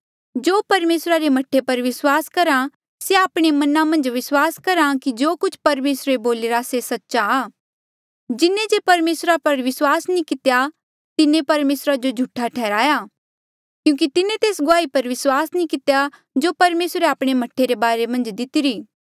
जो परमेसरा रे मह्ठे पर विस्वास करहा से आपणे मना मन्झ विस्वास करहा कि जो कुछ परमेसरे बोलिरा से सच्चा आ जिन्हें जे परमेसरा पर विस्वास नी कितेया तिन्हें परमेसरा जो झूठा ठैहराया क्यूंकि तिन्हें तेस गुआही पर विस्वास नी कितेया जो परमेसरे आपणे मह्ठे रे बारे मन्झ दिती